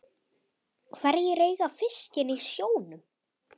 Hverjir eiga fiskinn í sjónum?